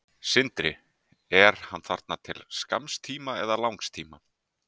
Sindri: Er hann þarna til skamms tíma eða langs tíma?